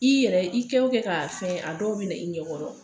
I yɛrɛ i kɛ wo kɛ ka fɛ, a dɔw be na i ɲɛkɔrɔ.